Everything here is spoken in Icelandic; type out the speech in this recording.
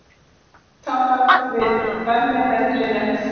Talað við Vernharð Linnet.